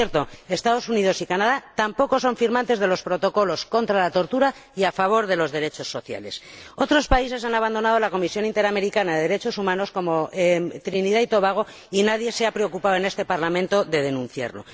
Por cierto, los Estados Unidos y Canadá tampoco son firmantes de los Protocolos contra la tortura y a favor de los derechos sociales. Otros países han abandonado la Comisión Interamericana de Derechos Humanos, como Trinidad y Tobago, y nadie se ha preocupado en este Parlamento de denunciarlo.